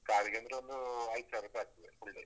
ಕಾರಿಗಂದ್ರೆ ಒಂದು ಐದು ಸಾವಿರ ರೂಪಾಯಿ ಆಗ್ತದೆ full day .